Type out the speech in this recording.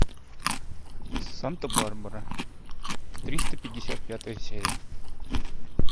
санта барбара триста пятьдесят пятая серия